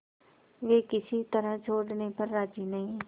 वे किसी तरह छोड़ने पर राजी नहीं